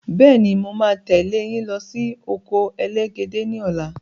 Bẹ́ẹ̀ni, máa tẹ leyin lọ sí oko elégédé ni ọ̀la